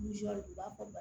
u b'a fɔ